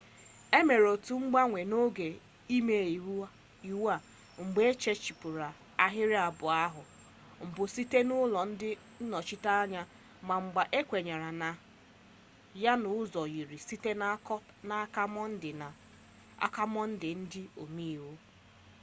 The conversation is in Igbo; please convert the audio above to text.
e mere otu mgbanwe n'oge imeiwu a mgbe ehichapụrụ ahịrị abụọ ahụ mbụ site n'aka ụlọ ndị nnọchiteanya ma mgbe ahụ ekwenye na ya n'ụzọ yiri site n'aka mọnde ndị omeiwu